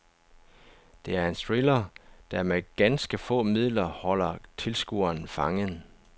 Det er en thriller, der med ganske få midler holder tilskueren fangen.